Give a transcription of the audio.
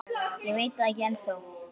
Ég veit það ekki ennþá.